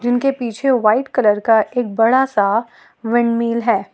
उनके पीछे white colour का एक बड़ा सा विंडमिल है।